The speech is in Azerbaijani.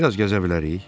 Bir az gəzə bilərik.